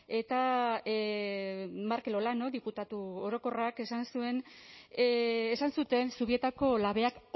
eta markel olano diputatu orokorrak esan zuen esan zuten zubietako labeak